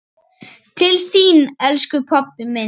Til þín, elsku pabbi minn.